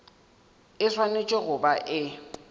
e swanetše go ba e